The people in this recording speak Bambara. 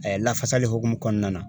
lafasali hukumu kɔnɔna na